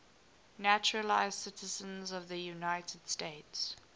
naturalized citizens of the united states